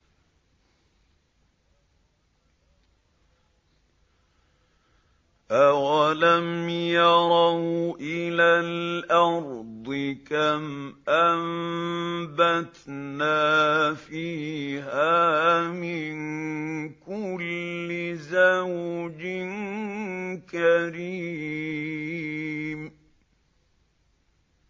أَوَلَمْ يَرَوْا إِلَى الْأَرْضِ كَمْ أَنبَتْنَا فِيهَا مِن كُلِّ زَوْجٍ كَرِيمٍ